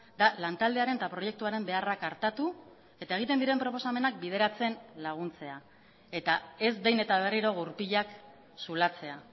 da lantaldearen eta proiektuaren beharrak artatu eta egiten diren proposamenak bideratzen laguntzea eta ez behin eta berriro gurpilak zulatzea